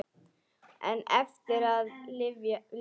En eftir er að lyfta.